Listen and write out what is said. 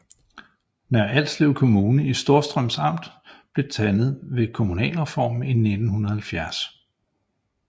Nørre Alslev Kommune i Storstrøms Amt blev dannet ved kommunalreformen i 1970